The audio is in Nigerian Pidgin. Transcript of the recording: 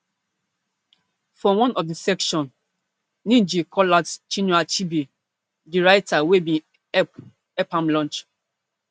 for one of di section ngg call out chinua achebe di writer wey bin help help am launch